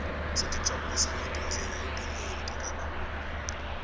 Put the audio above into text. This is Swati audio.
sitijabulisa ngetindlela letinyenti kakhulu